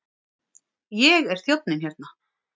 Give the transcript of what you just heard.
Ég er þjónninn hérna.